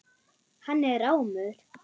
Hann er rámur.